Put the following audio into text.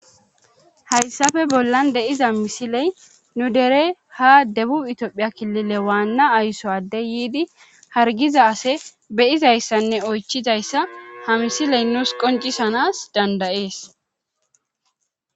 Hayssafe bollan de'iza misiley nu dere ha debu itiophiya kilile waanna aysowade yiidi hargiza ase beyizayssanne oychizayssa ha misiley nuus qoncisanas dandayees.